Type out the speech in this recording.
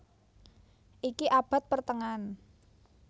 Iki abad pertengahan